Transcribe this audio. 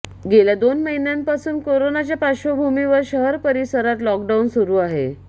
गेल्या दोन महिन्यांपासून कोरोनाच्या पार्श्वभूमीवर शहर परिसरात लाॅकडाऊन सुरू आहे